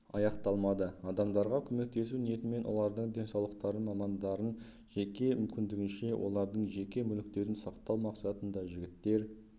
аяқталмады адамдарға көмектесу ниетімен олардың денсаулықтарын малжандарын жеке мүмкіндігінше олардың жеке мүліктерін сақтау мақсатында жігіттер